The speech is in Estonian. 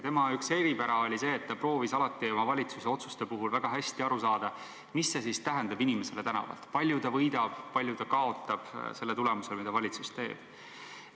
Tema üks eripära oli see, et ta proovis alati oma valitsuse otsuste puhul väga hästi aru saada, mis need tähendavad inimesele tänavalt – palju ta võidab, palju ta kaotab selle tulemusel, mida valitsus teeb.